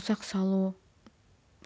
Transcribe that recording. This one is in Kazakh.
ұсақ салу